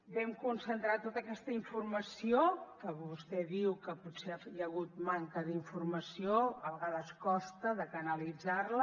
vam concentrar tota aquesta informació que vostè diu que potser hi ha hagut manca d’informació a vegades costa de canalitzar la